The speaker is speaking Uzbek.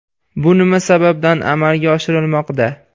Bu nima sababdan amalga oshirilmoqda?